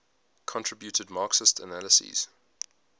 contributed marxist analyses